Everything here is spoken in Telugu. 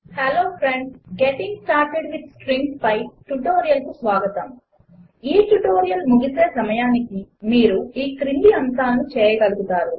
hello friends getting started with strings పై ట్యుటోరియల్కు స్వాగతం 1 ఈ ట్యుటోరియల్ ముగిసే సమయానికి మీరు ఈ క్రింది అంశములు చేయగలుగుతారు